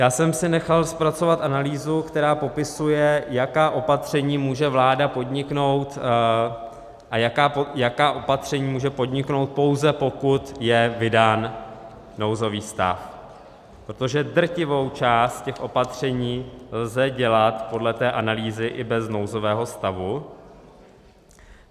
Já jsem si nechal zpracovat analýzu, která popisuje, jaká opatření může vláda podniknout a jaká opatření může podniknout, pouze pokud je vydán nouzový stav, protože drtivou část těch opatření lze dělat podle té analýzy i bez nouzového stavu.